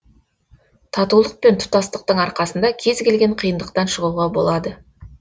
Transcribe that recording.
татулық пен тұтастықтың арқасында кез келген қиындықтан шығуға болады